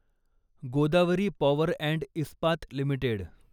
Godavari power and Ispat limited